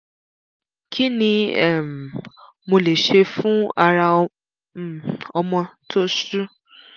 kí ni um mo lè ṣe fún ara um ọmọ tó ṣú?